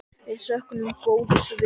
Við söknum góðs vinar.